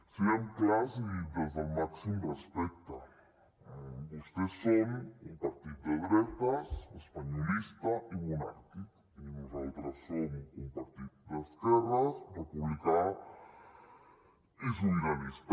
siguem clars i des del màxim respecte vostès són un partit de dretes espanyolista i monàrquic i nosaltres som un partit d’esquerres republicà i sobiranista